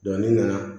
ne nana